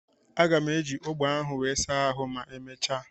Aga m eji ogbo ahụ wee saa ahụ ma emechaa.